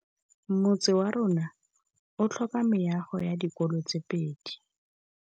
Motse warona o tlhoka meago ya dikolô tse pedi.